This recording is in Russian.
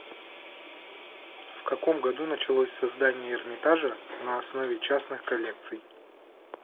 в каком году началось создание эрмитажа на основе частных коллекций